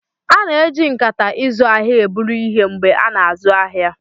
A na-eji nkata izu ahịa eburu ihe mgbe a na-azụ ahịa.